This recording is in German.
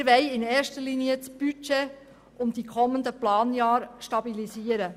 Wir wollen in erster Linie das Budget und die kommenden Planjahre stabilisieren.